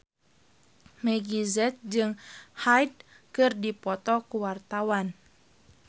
Meggie Z jeung Hyde keur dipoto ku wartawan